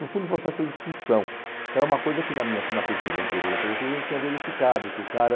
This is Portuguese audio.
No fundo, o processo de expulsão, que era uma coisa que na minha na pesquisa anterior da periferia a gente tinha verificado, que o cara...